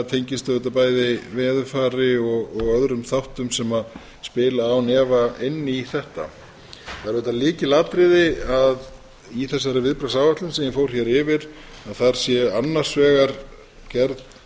tengist auðvitað bæði veðurfari og öðrum þáttum sem spila án efa inn í þetta það er auðvitað lykilatriði að í þessari viðbragðsáætlun sem ég fór hér yfir að þar sé annars vegar gerð